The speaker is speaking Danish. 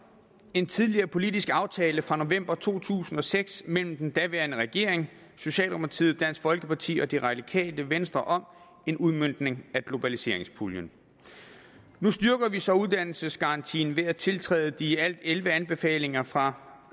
en tidligere politisk aftale fra november to tusind og seks mellem den daværende regering socialdemokratiet dansk folkeparti og det radikale venstre om en udmøntning af globaliseringspuljen nu styrker vi så uddannelsesgarantien ved at tiltræde de i alt elleve anbefalinger fra